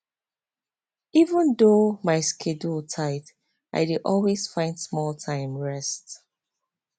even though my schedule tight i dey always find small time rest